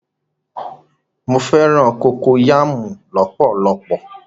Mọ fẹ̀ràn kokoyàmú lọ̀pọ̀lọ̀pọ̀.